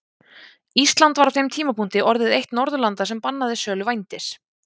Ísland var á þeim tímapunkti orðið eitt Norðurlanda sem bannaði sölu vændis.